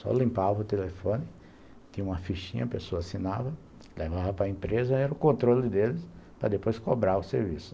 Só limpava o telefone, tinha uma fichinha, a pessoa assinava, levava para empresa, era o controle deles, para depois cobrar o serviço.